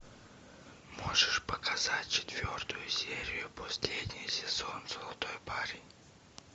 можешь показать четвертую серию последний сезон золотой парень